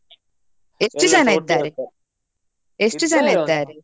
ಎಷ್ಟು .